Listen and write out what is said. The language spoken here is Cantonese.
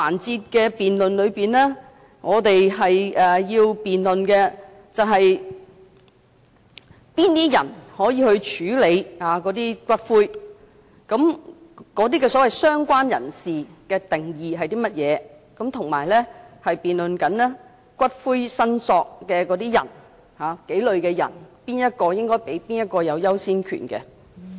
在這辯論環節，我們要辯論的是，誰可以領回骨灰，所謂"相關人士"的定義是甚麼，以及辯論數類骨灰的"訂明申索人"之中，誰可以有優先權。